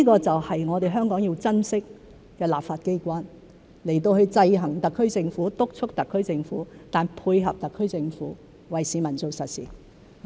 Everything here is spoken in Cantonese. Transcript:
這正是我們香港要珍惜的，立法機關制衡特區政府、督促特區政府，但配合特區政府，為市民做實事。